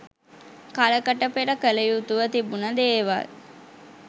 කලකට පෙර කළ යුතුව තිබුණ දේවල්.